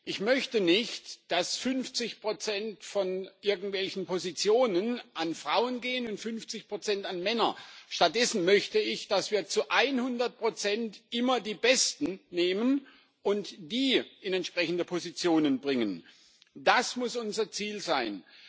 Ich möchte nicht, dass 50 von irgendwelchen Positionen an Frauen gehen und 50 an Männer. Stattdessen möchte ich, dass wir zu 100 immer die Besten nehmen und die in entsprechende Positionen bringen. Das muss unser Ziel sein.